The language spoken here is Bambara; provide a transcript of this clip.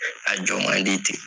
A jɔn ma di ten.